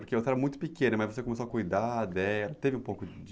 Porque você era muito pequena, mas você começou a cuidar dela, teve um pouco